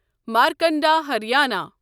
Markanda Haryana